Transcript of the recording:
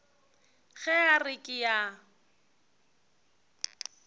ge a re ke a